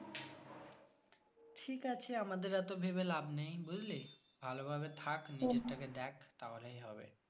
ঠিক আছে আমাদের এত ভেবে লাভ নেই বুঝলি ভালোভাবে থাক নিজেরটাকে দেখ তাহলেই হবে।